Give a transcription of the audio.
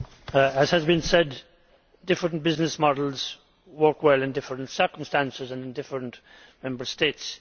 Mr President, as has been said, different business models work well in different circumstances and different Member States.